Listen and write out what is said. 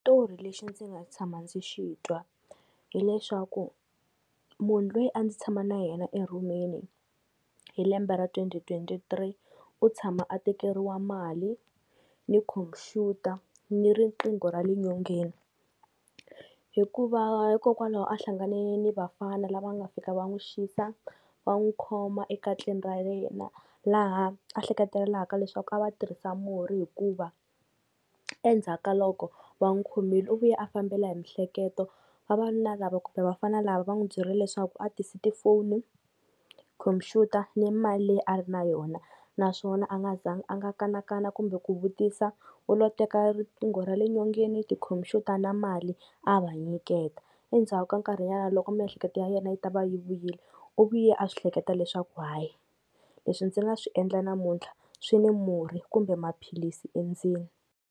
Xitori lexi ndzi nga tshama ndzi xi twa hileswaku munhu loyi a ndzi tshama na yena erhumini hi lembe ra twenty twenty three u tshama a tekeriwa mali ni computer ni riqingho ra le nyongeni, hikuva hikokwalaho a hlangane ni vafana lava nga fika va n'wi xisa, va n'wi khoma ekatleni ra yena, laha a ehlekatelelaka leswaku a va tirhisa murhi hikuva endzhaku ka loko va n'wi khomile u vuye a fambela hi mihleketo, vavanuna lava kumbe vafana lava va n'wi byerile leswaku a tisi tifoni, computer ni mali leyi a ri na yona, naswona a nga za ngi a nga kanakana kumbe ku vutisa u lo teka riqingho ra le nyongeni tikhomphyuta na mali a va nyiketa, endzhaku ka nkarhi nyana loko miehleketo ya yena yi ta va yi vuyile u vuye a swi hleketa leswaku hayi leswi ndzi nga swi endla namuntlha swi ni murhi kumbe maphilisi endzeni.